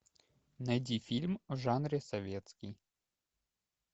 найди фильм в жанре советский